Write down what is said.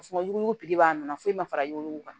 yuguyugu b'a nɔ na foyi ma fara yuguyugu